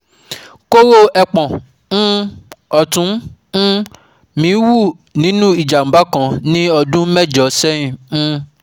koro epon um ọ̀tún um mi wú nínú ìjàmbá kan ní ọdún mẹ́jọ sẹ́yìn um